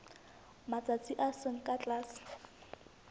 matsatsi a seng ka tlase